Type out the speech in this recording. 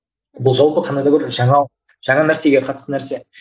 ол жалпы қандай да бір жаңа нәрсеге қатысты нәрсе